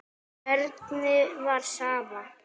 Erni var sama.